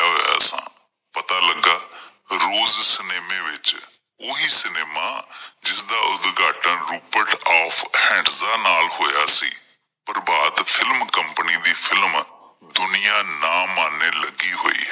ਰੋਜ਼ ਸਿਨੇਮੇ ਵਿੱਚ ਓਹੀ ਸਿਨੇਮਾ ਜਿਸ ਦਾ ਉਦਘਾਟਨ ਆਫ਼ ਨਾਲ ਹੋਇਆ ਸੀ। ਪ੍ਰਭਾਤ ਫਿਲਮ ਕੰਪਨੀ ਦੀਆਂ ਫਿਲਮਾਂ ਦੁਨੀਆ ਨਾਂ ਮਾਨੈ ਲੱਗੀ ਹੋਈ ਹੈ।